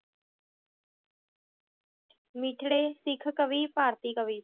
ਮਿੱਠੜੇ, ਸਿੱਖ ਕਵੀ, ਭਾਰਤੀ ਕਵੀ